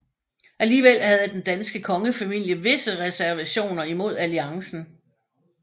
Alligevel havde den danske kongefamilie visse reservationer imod alliancen